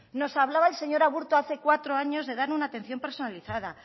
nos hablaba el señor aburto hace cuatro años de dar una atención personalizada